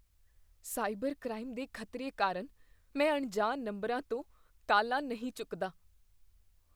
Cyber crime ਦੇ ਖਤਰੇ ਕਾਰਨ ਮੈਂ ਅਣਜਾਣ ਨੰਬਰਾਂ ਤੋਂ ਕਾਲਾਂ ਨਹੀਂ ਚੁੱਕਦਾ।